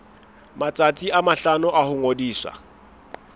matsatsi a mahlano ho ngodisa